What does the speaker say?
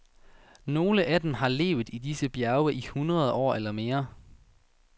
Nogle af dem har levet i disse bjerge i hundrede år eller mere.